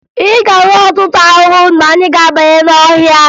Ị ga-ahụ ọtụtụ ahụhụ mgbe anyị ga-abanye n'ọhịa